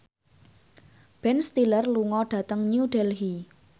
Ben Stiller lunga dhateng New Delhi